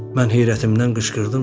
Mən heyrətimdən qışqırdım.